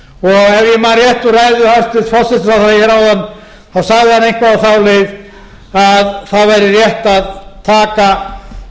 rétt úr ræðu hæstvirts forsætisráðherra áðan þá sagði hann eitthvað á þá leið að það væri rétt að taka